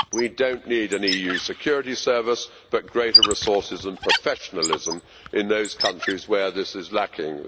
We do not need an EU security service but rather greater resources, and more professionalism in those countries where it is lacking.